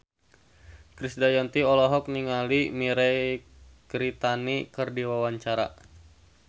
Krisdayanti olohok ningali Mirei Kiritani keur diwawancara